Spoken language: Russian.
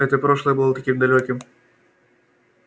это прошлое было таким далёким